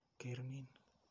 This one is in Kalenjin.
Ker niin.